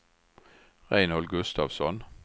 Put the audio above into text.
Reinhold Gustavsson